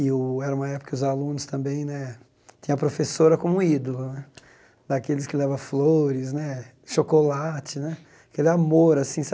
E o era uma época que os alunos também né tinham a professora como ídolo né, daqueles que leva flores né, chocolate né, aquele amor assim, sabe?